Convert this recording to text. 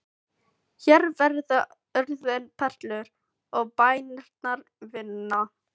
Hér verða orðin perlur og bænirnar vinna.